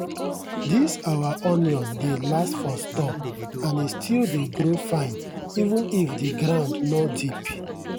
this our onion dey last for store and e still dey grow fine even if the ground no deep.